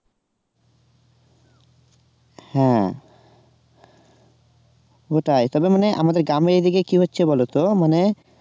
হ্যাঁ ওটাই তবে মানে আমাদের গ্রামে এদিকে কি হচ্ছে বলতো মানে